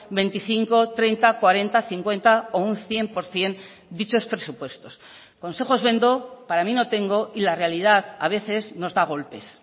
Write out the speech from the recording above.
veinticinco treinta cuarenta cincuenta o un cien por ciento dichos presupuestos consejos vendo para mí no tengo y la realidad a veces nos da golpes